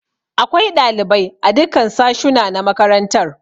Akwai ɗalibai a dukkan sashuna na makaranta.